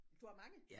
Du har mange?